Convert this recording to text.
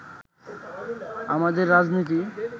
আমাদের রাজনীতি